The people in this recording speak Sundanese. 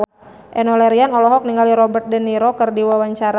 Enno Lerian olohok ningali Robert de Niro keur diwawancara